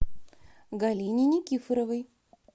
галине никифоровой